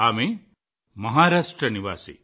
ఆమె మహారాష్ట్ర నివాసి